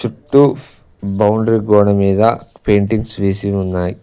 Two boundary గోడ మీద paintings వేసి ఉన్నాయి.